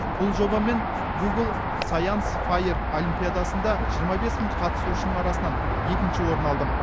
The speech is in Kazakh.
бұл жобаммен гугл саянс файр олимпиадасында жиырма бес мың қатысушының арасынан екінші орын алдым